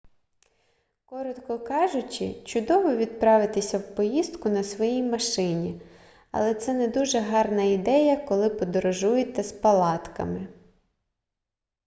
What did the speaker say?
коротко кажучи чудово відправитися в поїздку на своїй машині але це не дуже гарна ідея коли подорожуєте з палатками